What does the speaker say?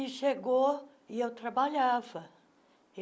E chegou e eu trabalhava.